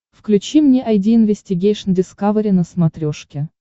включи мне айди инвестигейшн дискавери на смотрешке